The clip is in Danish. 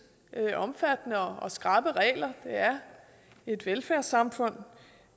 omfattende og skrappe regler det er et velfærdssamfund